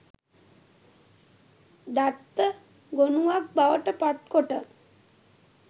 දත්ත ගොනුවක් බවට පත්කොට